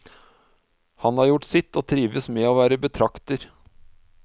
Han har gjort sitt, og trives med å være betrakter.